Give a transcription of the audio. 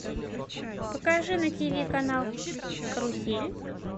покажи на тиви канал карусель